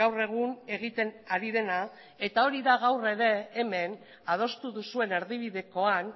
gaur egun egiten ari dena eta hori da gaur ere hemen adostu duzuen erdibidekoan